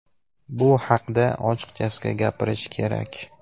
Bu haqda ochiqchasiga gapirish kerak.